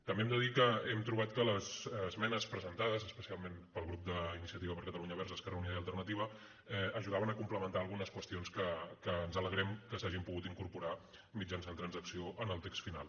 també hem de dir que hem trobat que les esmenes presentades especialment pel grup d’iniciativa per catalunya verds · esquerra unida i alternativa aju·daven a complementar algunes qüestions que ens ale·grem que s’hagin pogut incorporar mitjançant trans·acció en el text final